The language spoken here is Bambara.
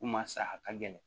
Ko maa sa a ka gɛlɛn